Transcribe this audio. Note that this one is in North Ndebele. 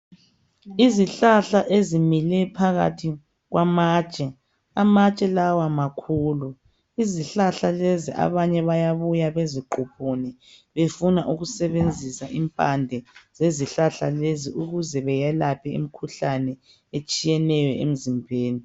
Izihlahla ezimile phakathi kwamatshe ,amatshe lawa makhulu. Izihlahla lezi abanye bayabuya beziquphune befuna ukusebenzisa impande zezihlahla lezi ukuze beyelaphe imikhuhlane etshiyeneyo emzimbeni.